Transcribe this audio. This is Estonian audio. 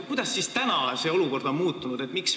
Kuidas on olukord muutunud?